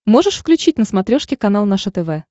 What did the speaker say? можешь включить на смотрешке канал наше тв